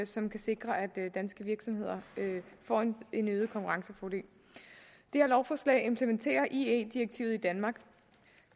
som kan sikre at danske virksomheder får en øget konkurrencefordel det her lovforslag implementerer ie direktivet i danmark